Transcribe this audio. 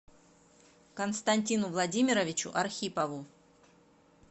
константину владимировичу архипову